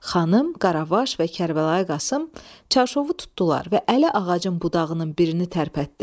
Xanım, Qaravaş və Kərbəlayi Qasım çarşovu tutdular və Əli ağacın budağının birini tərpətdi.